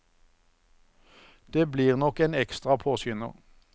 Det blir nok en ekstra påskynder.